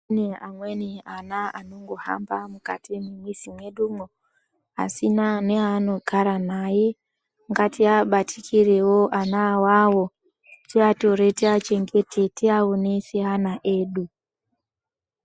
Kune amweni ana anongohamba mukati mwemizi medumwo asina neaanogara naye ngatiabatikirewo ana awawo tiatore tiachengete tiaone seana edu.